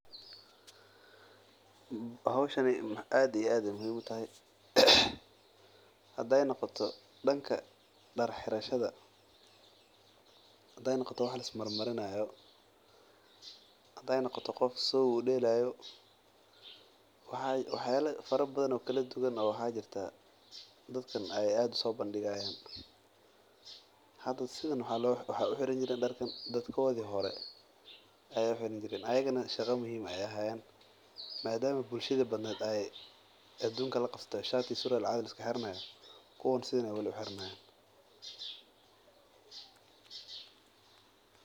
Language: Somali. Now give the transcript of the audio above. Howshan aad iyo aad ayeey muhiim utahay hadeey noqoto danka dar xirashada ama wax lis marinaayo wax yaaba kala duban ayaa jiraa oo dadkan soo bandigayaan dadkoodi hore ayaa soo xiran jireen, madama bulshada shati iyo surwaal laxiran haayo kuwan sidan ayeey weli xiran haayan.